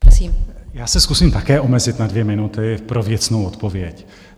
Já se zkusím také omezit na dvě minuty pro věcnou odpověď.